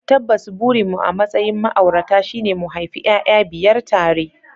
Tabbas burinmu a matsayin ma'aurata shine mu haifi 'ya'ya biyar tare